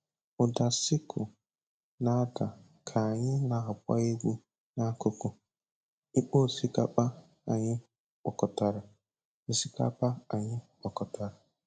Ụda sickle na-ada ka anyị na-agba egwu n'akụkụ ikpo osikapa anyị kpokọtara. osikapa anyị kpokọtara.